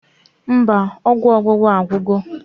Mba, ọgwụ ọgbụgba agwugo